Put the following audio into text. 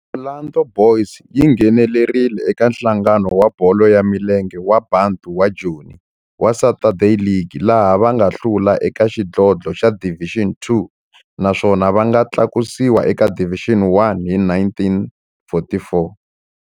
Orlando Boys yi nghenelerile eka Nhlangano wa Bolo ya Milenge wa Bantu wa Joni wa Saturday League, laha va nga hlula eka xidlodlo xa Division Two naswona va nga tlakusiwa eka Division One hi 1944.